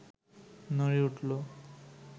নড়ে উঠল